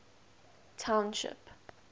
township